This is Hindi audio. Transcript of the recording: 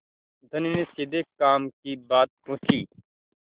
धनी ने सीधे काम की बात पूछी